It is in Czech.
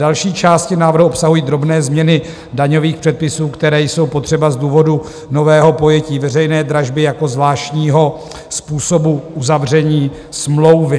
Další části návrhu obsahují drobné změny daňových předpisů, které jsou potřeba z důvodu nového pojetí veřejné dražby jako zvláštního způsobu uzavření smlouvy.